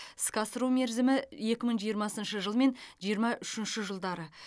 іске асыру мерзімі екі мың жиырмасыншы жыл мен жиырма үшінші жылдары